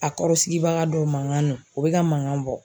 A kɔrɔ sigibaga dɔw mankan na olu bɛ mankan bɔ.